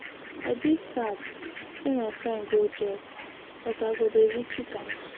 I dey sad say my friend go jail but I go dey visit am.